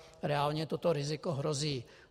Reálně toto riziko hrozí.